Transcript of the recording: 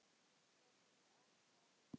Lögð sérstök áhersla á börnin.